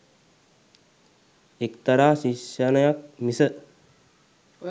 එක්තරා ශික්‍ෂණයක් මිස